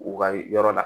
U ka yɔrɔ la